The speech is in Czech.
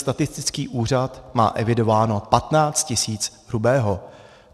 Statistický úřad má evidováno 15 tis. hrubého.